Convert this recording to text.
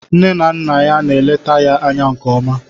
Nne na Nna ya na-eleta ya anya nke ọma